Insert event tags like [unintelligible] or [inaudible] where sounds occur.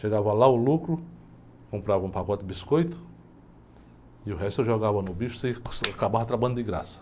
Chegava lá o lucro, comprava um pacote de biscoito, e o resto eu jogava no bicho e [unintelligible] acabava trabalhando de graça.